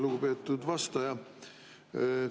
Lugupeetud vastaja!